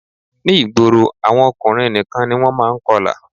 Ní ìgboro àwọn ọkùnrin nìkan ni wọ́n má a n kọlà